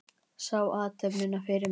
Sá athöfnina fyrir mér.